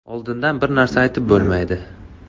Oldindan bir narsa aytib bo‘lmaydi.